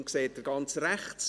Ihn sehen Sie ganz rechts.